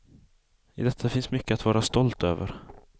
I detta finns mycket att vara stolt över.